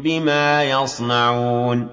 بِمَا يَصْنَعُونَ